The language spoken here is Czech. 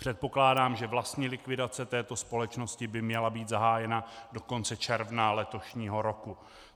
Předpokládám, že vlastní likvidace této společnosti by měla být zahájena do konce června letošního roku.